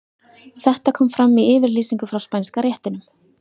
Þetta kom fram í yfirlýsingu frá Spænska réttinum.